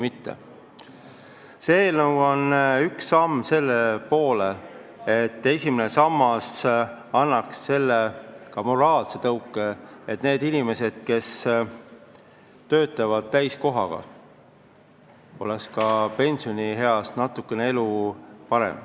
See eelnõu on üks samm selle poole, et esimene sammas annaks moraalse tõuke, et nendel inimestel, kes töötavad täiskohaga, oleks ka pensionieas elu natuke parem.